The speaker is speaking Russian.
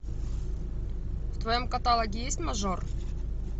в твоем каталоге есть мажор